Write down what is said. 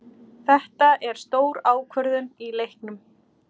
Þetta er stór ákvörðun í leiknum.